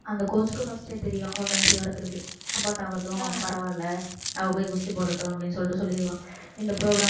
அந்த coach க்கு first ஏ தெரியும் அவ conceive ஆ இருக்கறது abort ஆகட்டும் பரவாயில்லை அவள் போய் குஸ்தி போடட்டும் அப்படின்னு சொல்லிட்டு சொல்லிருவான் இந்த இந்த program